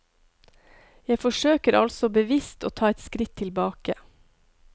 Jeg forsøker altså bevisst å ta et skritt tilbake.